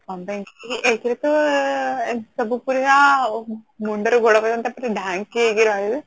honestly ଏକ ରେ ତ ଏମିତି ସବୁ ଅଉ ମୁଣ୍ଡ ରୁ ଗୋଡ ପର୍ଯ୍ୟନ୍ତ ପୁରା ଢାଙ୍କି ହେଇକି ରହିବେ